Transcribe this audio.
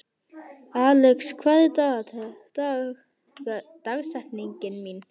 Alex, hver er dagsetningin í dag?